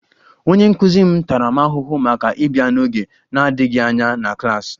Onye nkụzi m tara m ahụhụ maka ịbịa n'oge na-adịghị anya na klas